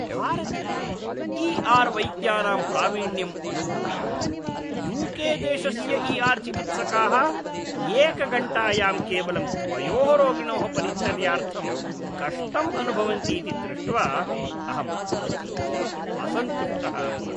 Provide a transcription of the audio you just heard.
भारते E R वैद्यानां प्रावीण्यम् अनुभूय, यू के देशस्य ई आर् चिकित्सकाः एकघण्टायां केवलं द्वयोः रोगिणोः परिचर्यार्थं कष्टम् अनुभवन्तीति दृष्ट्वा अहम् अतीव असन्तुष्टः अभवम्।